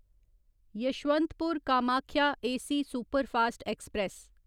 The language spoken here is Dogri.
Yesvantpur Kamakhya AC superfast express